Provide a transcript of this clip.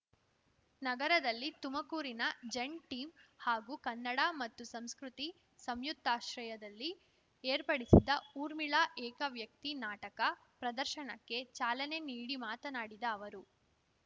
ನಗರದಲ್ಲಿ ತುಮಕೂರಿನ zen team ಹಾಗೂ ಕನ್ನಡ ಮತ್ತು ಸಂಸ್ಕೃತಿ ಸಂಯುಕ್ತಾಶ್ರಯದಲ್ಲಿ ಏರ್ಪಡಿಸಿದ್ದ ಊರ್ಮಿಳಾ ಏಕವ್ಯಕ್ತಿ ನಾಟಕ ಪ್ರದರ್ಶನಕ್ಕೆ ಚಾಲನೆ ನೀಡಿ ಮಾತನಾಡಿದ ಅವರು